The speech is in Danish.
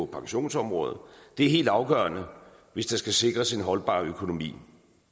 pensionsområdet det er helt afgørende hvis der skal sikres en holdbar økonomi